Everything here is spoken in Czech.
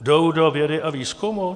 Jdou do vědy a výzkumu?